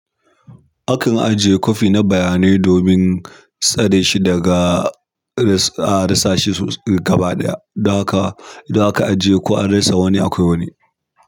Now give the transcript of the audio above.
Akan ajiye copy na baya nai domin tsareshi daga risk. A rasashi gaba ɗaya don haka, idon aka ajiye ko an rasa wani akwai wani.